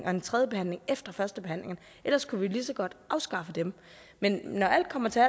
og en tredje behandling efter førstebehandlingen ellers kunne vi jo lige så godt afskaffe dem men når alt kommer til